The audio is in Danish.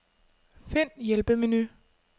Find hjælpemenu.